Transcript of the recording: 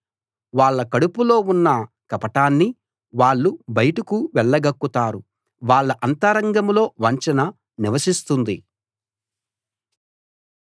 వాళ్ళ కడుపులో ఉన్న కపటాన్ని వాళ్ళు బయటకు వెళ్ళగక్కుతారు వాళ్ళ అంతరంగంలో వంచన నివసిస్తుంది